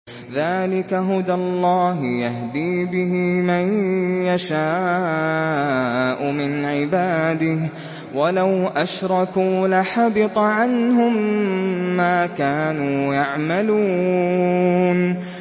ذَٰلِكَ هُدَى اللَّهِ يَهْدِي بِهِ مَن يَشَاءُ مِنْ عِبَادِهِ ۚ وَلَوْ أَشْرَكُوا لَحَبِطَ عَنْهُم مَّا كَانُوا يَعْمَلُونَ